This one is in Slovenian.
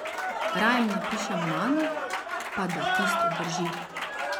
Raje napišem manj, pa da tisto drži.